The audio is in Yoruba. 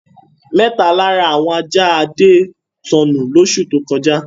Mẹ́ta lára àwọn ajá Adé sọnù lóṣù tó kọjá.